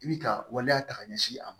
I bi ka waleya ta k'a ɲɛsin a ma